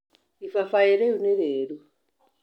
Ibabaĩ rĩu nĩ rĩru.